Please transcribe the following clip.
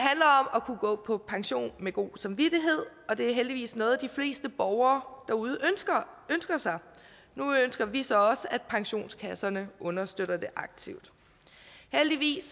at kunne gå på pension med god samvittighed og det er heldigvis noget de fleste borgere derude ønsker sig nu ønsker vi så også at pensionskasserne understøtter det aktivt heldigvis